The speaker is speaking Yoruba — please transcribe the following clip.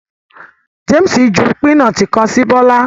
James ju pinọti kan si Bola